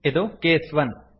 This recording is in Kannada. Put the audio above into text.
ಇದು ಕೇಸ್ 1